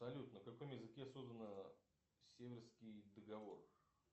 салют на каком языке создана северский договор